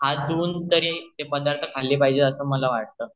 हात धुवून तरी ते पदार्थ खाल्ले पाहिजेत असं मला वाटतं